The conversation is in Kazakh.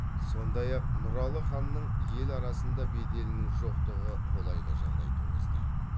сондай ақ нұралы ханның ел арасында беделінің жоқтығы колайлы жағдай туғызды